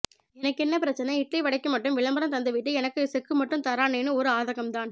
எனகென்ன பிரச்சனை இட்லிவடைக்கு மட்டும் விளம்பரம் தந்துட்டு எனக்கு செக்கு மட்டும் தர்ராறேன்னு ஒரு ஆதங்கம் தான்